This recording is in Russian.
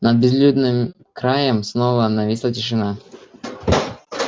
над безлюдным краем снова нависла тишина